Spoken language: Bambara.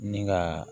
Ni ka